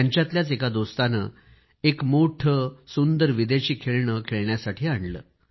त्यांच्यातल्याच एका दोस्ताने एक मोठे आणि सुंदर विदेशी खेळणे खेळण्यासाठी आणले